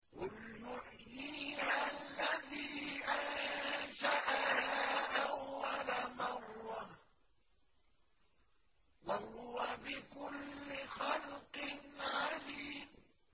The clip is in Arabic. قُلْ يُحْيِيهَا الَّذِي أَنشَأَهَا أَوَّلَ مَرَّةٍ ۖ وَهُوَ بِكُلِّ خَلْقٍ عَلِيمٌ